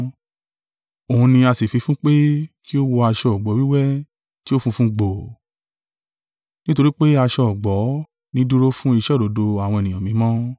Òun ni a sì fi fún pé kí ó wọ aṣọ ọ̀gbọ̀ wíwẹ́ tí ó funfun gbòò.” (Nítorí pé aṣọ ọ̀gbọ̀ nì dúró fún iṣẹ́ òdodo àwọn ènìyàn mímọ́.)